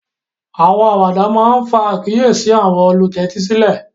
Àwọn àwàdà máà ńfa àkiyési àwọn ólutẹtisilẹ